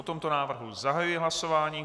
O tomto návrhu zahajuji hlasování.